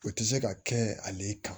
O tɛ se ka kɛ ale kan